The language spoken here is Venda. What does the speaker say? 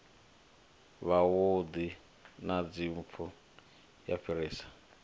wavhuḓi na dzimpfu u fhirisa